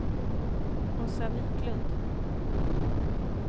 Åsa Viklund